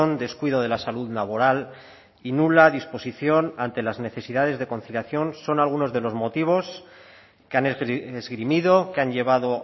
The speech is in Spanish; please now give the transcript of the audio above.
descuido de la salud laboral y nula disposición ante las necesidades de conciliación son algunos de los motivos que han esgrimido que han llevado